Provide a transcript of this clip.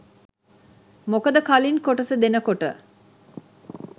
මොකද කලින් කොටස දෙනකොට